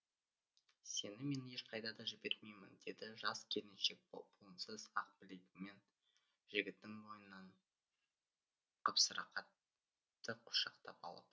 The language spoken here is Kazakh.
сені мен ешқайда да жібермеймін деді жас келіншек буынсыз ақ білегімен жігіттің мойнынан қапсыра қатты құшақтап алып